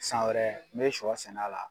San wɛrɛ n be sɔ sɛn'a la